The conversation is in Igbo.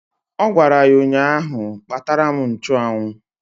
Ọ gwara ya ụnyaahụ "Kpatara m nchụanwụ"!